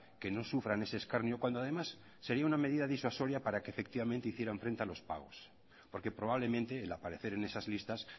que no sufran ese escarnio cuando además sería una medida disuasoria para que efectivamente hicieran frente a los pagos porque probablemente el aparecer en esas listas